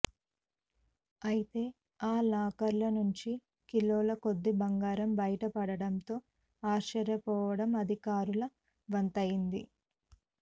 అయితే ఆ లాకర్ల నుండి కిలోల కొద్దీ బంగారం బయట పడడంతో ఆశ్చర్యపోవడం అధికారుల వంతైంది